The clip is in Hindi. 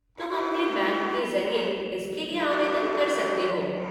तुम अपने बैंक के ज़रिए इसके लिए आवेदन कर सकते हो।